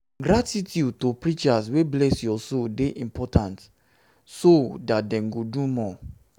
gratitude to preachers wey bless your soul de important so that dem go do more